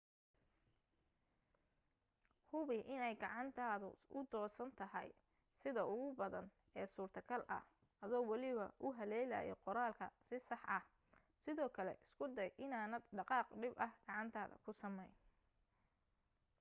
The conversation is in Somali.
hubi inay gacantaadu u fidsan tahay sida ugu badan ee suurtogalka ah adoo waliba u haleelaya qoraalka si sax ah sidoo kale isku day inaanad dhaqaaq dhib ah gacantaada ku samayn